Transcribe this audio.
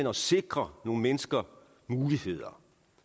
og sikrer nogle mennesker muligheder